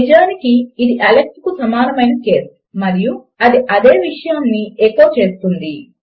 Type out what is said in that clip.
నిజమునకు ఇది అలెక్స్ కు సమానము అయిన కేస్ మరియు అది అదే విషయమును ఎకో చేస్తుంది